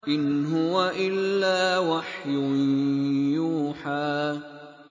إِنْ هُوَ إِلَّا وَحْيٌ يُوحَىٰ